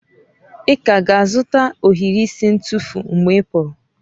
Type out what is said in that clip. Ị ka ga-azụta ohiri isi ntufu mgbe ị pụrụ?